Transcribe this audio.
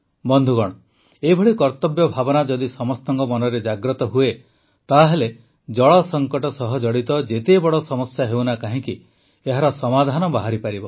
ବନ୍ଧୁଗଣ ଏଭଳି କର୍ତ୍ତବ୍ୟ ଭାବନା ଯଦି ସମସ୍ତଙ୍କ ମନରେ ଜାଗ୍ରତ ହୁଏ ତାହେଲେ ଜଳ ସଂକଟ ସହ ଜଡ଼ିତ ଯେତେ ବଡ଼ ସମସ୍ୟା ହେଉନା କାହିଁକି ଏହାର ସମାଧାନ ବାହାରିପାରିବ